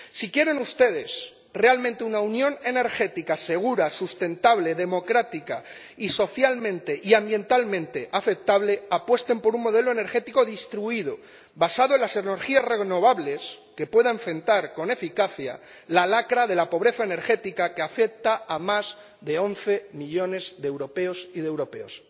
Si quieren ustedes realmente una unión energética segura, sustentable, democrática y social y ambientalmente aceptable, apuesten por un modelo energético distribuido, basado en las energías renovables, que nos permita enfrentar con eficacia la lacra de la pobreza energética que afecta a más de once millones de europeas y de europeos.